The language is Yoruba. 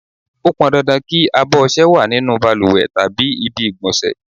Ó pọn dandan kí abọ̀ ọṣẹ wá nínú bàlùwẹ̀ tàbí ibi ìgbọ̀nsẹ̀.